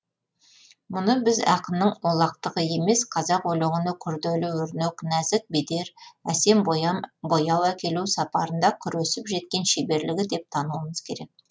мұны біз ақынның олақтығы емес қазақ өлеңіне күрделі өрнек нәзік бедер әсем бояу әкелу сапарында күресіп жеткен шеберлігі деп тануымыз керек